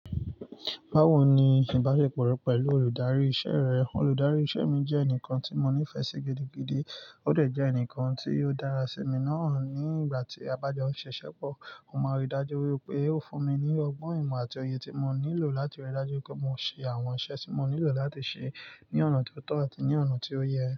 Bawo ni ìbáṣepọ̀ rẹ pẹlu olùdarí iṣẹ́ rẹ? Olùdarí iṣẹ́ mi jẹ́ ẹnìkan tí mo nífẹ̀ẹ́ sí gidigidi, óò de jẹ́ ẹnìkan tí yóò dára sí mi náà nígbà tí a bá jọ ṣiṣẹ́ pọ̀. Mo mọ ri ìmdáju wípé ó fún mi ní ọgbọ́n ìmọ̀ àti òye tí mo nílò láti rí i dájú pé mo ṣe àwọn iṣẹ́ tí mo nílò láti ṣe ní ọ̀nà tó tọ́ àti ní ọ̀nà tí ó yẹ.